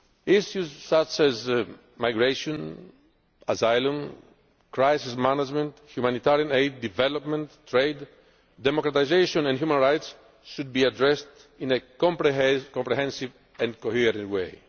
instruments. Issues such as migration, asylum, crisis management, humanitarian aid, development, trade, democratisation and human rights should be addressed in a comprehensive and